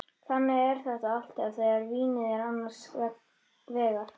Þannig er þetta alltaf þegar vínið er annars vegar.